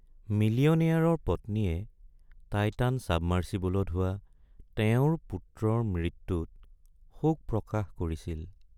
মিলিয়নেয়াৰৰ পত্নীয়ে টাইটান চাবমাৰ্ছিবলত হোৱা তেওঁৰ পুত্ৰৰ মৃত্যুত শোক প্ৰকাশ কৰিছিল।